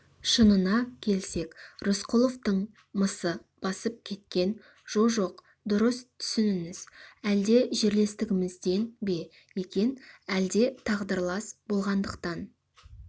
шынына келсек рысқұловтың мысы басып кеткен жо-жоқ дұрыс түсініңіз әлде жерлестігімізден бе екен әлде тағдырлас болғандықтан